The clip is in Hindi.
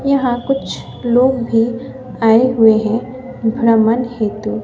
यहां कुछ लोग भी आए हुए हैं भ्रमण हेतु।